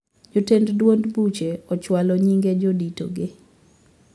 Jotend duond buche ochwalo nyinge jodito ge